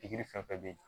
Pikiri fɛn fɛn bɛ yen